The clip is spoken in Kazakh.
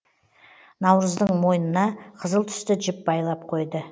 наурыздың мойнына қызыл түсті жіп байлап қойды